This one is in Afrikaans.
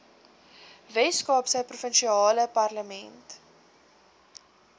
weskaapse provinsiale parlement